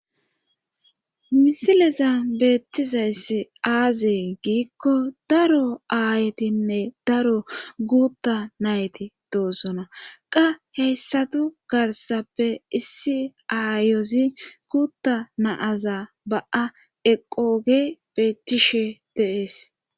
misileza beettizayssi aazee giikko daro aayetinne daro guutta nayti doosona qa heyssatu garsappe issi aayozi guutta naaza ba7a eqoge beettishe de'ees